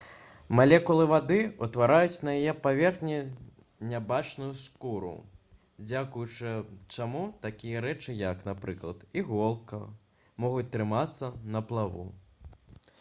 малекулы вады ўтвараюць на яе паверхні нябачную скуру дзякуючы чаму такія рэчы як напрыклад іголка могуць трымацца на плаву